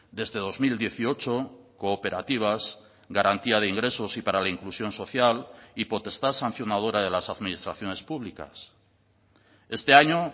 desde dos mil dieciocho cooperativas garantía de ingresos y para la inclusión social y potestad sancionadora de las administraciones públicas este año